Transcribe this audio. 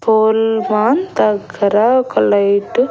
పోల్వాన్ దగ్గర ఒక లైటు .